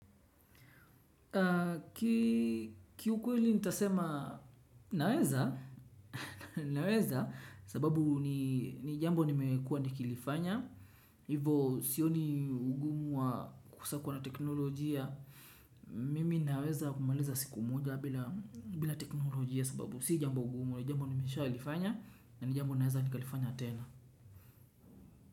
Ki ukweli ntasema naeza naweza sababu ni jambo nimekua nikilifanya. Hivo sioni ugumu wa kosa kuwa na teknolojia. Mimi naweza kumaliza siku moja bila teknolojia sababu si jambo ugumwa. Jambo nimesha ilifanya na jambo naweza nikalifanya tena.